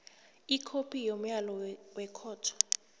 ikhophi yomyalo wekhotho